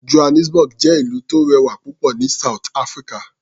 Johannesburg jẹ́ ìlú tó rẹwà púpọ̀ ní South Africa.